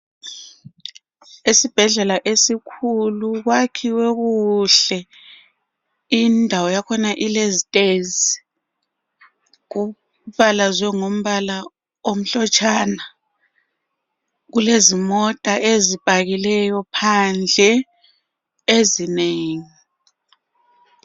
Esibhedlela esikhulu kwakhiwe kuhle. Indawo yakhona ilezitezi. Kubalazwe ngombala omhlotshana. Kulezimota ezipakileyo phandle ezinengi.